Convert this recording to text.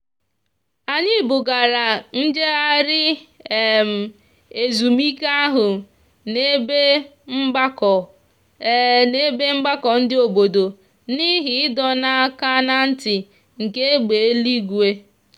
anyị bugara njegharị um ezumike ahụ n'ebe mgbakọ n'ebe mgbakọ ndị obodo n'ihi ịdọ aka na ntị nke egbe eluigwe.